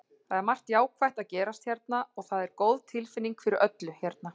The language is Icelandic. Það er margt jákvætt að gerast hérna og það er góð tilfinning fyrir öllu hérna.